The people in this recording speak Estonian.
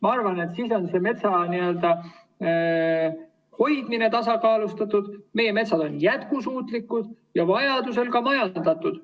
Ma arvan, et siis on metsa hoidmine tasakaalustatud, meie metsad on jätkusuutlikud ja vajaduse korral ka majandatud.